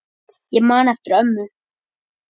Ég man eftir ömmu.